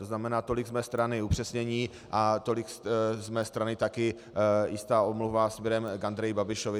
To znamená tolik z mé strany upřesnění a tolik z mé strany také jistá omluva směrem k Andreji Babišovi.